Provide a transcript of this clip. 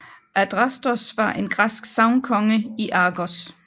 Adrastos var en græsk sagnkonge i Argos